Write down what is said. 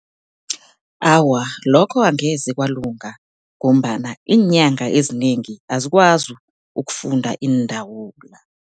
awa, lokho angeze kwalunga, ngombana iinyanga ezinengi azikwazi ukufunda iindawula.